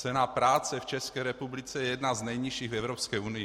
Cena práce v České republice je jedna z nejnižších v Evropské unii.